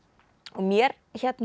mér